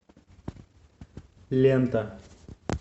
лента